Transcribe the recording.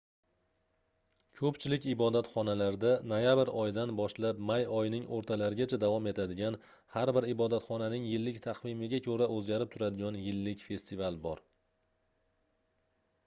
koʻpchilik ibodatxonalarda noyabr oyidan boshlab may oyining oʻrtalarigacha davom etadigan har bir ibodatxonaning yillik taqvimiga koʻra oʻzgarib turadigan yillik festival bor